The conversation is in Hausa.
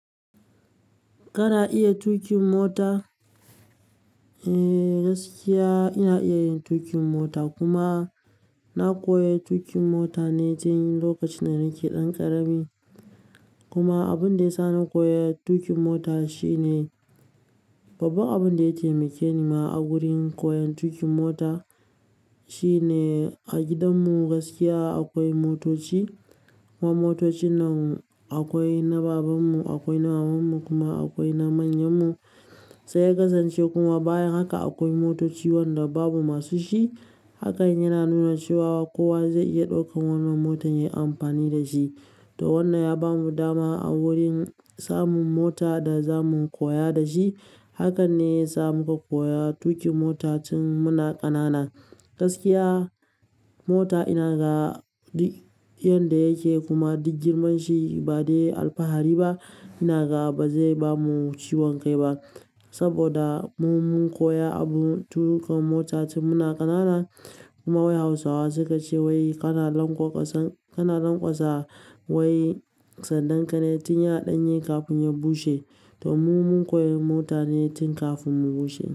Kana iya tuƙin mota? Eh gaskiya ina iya yin tuƙin mota kuma na koya tuƙin mota ne tin lokacin da nake ɗan ƙarami. Kuma abun da ya sa na koyi tuƙin mota shine, babbar abun da ya taimake ni ma a wurin koyon tuƙin mota shine a gidanmu gaskiya akwai motoci. Kuma motocin nan akwai na babanmu, akwai na mamanmu kuma akwai na manyanmu. Sai ya kasance kuma bayan haka akwai motoci Wanda babu masu shi. Haka yana nuna cewa kowa zai iya ɗaukan wannan motar yayi amfani da shi. To wannan ya bamu dama a wurin samun mota da za mu koya da shi. Hakan ne ya sa muka koya tuƙin mota tin muna ƙanana. Gaskiya mota ina ga duk yanda yake kuma duk girman shi ba dai alfahari ba. Ina ga ba zai bamu ciwon kai ba. Saboda mu mun koya abun tuƙa mota tin muna ƙanana. Kuma wai hausawa suka ce wai kana lanƙwasa, kana lanƙwasa wai sandan ka ne tin ya ɗanye kafin ya bushe. To mu mun koya mota ne tin kafin mu bushe.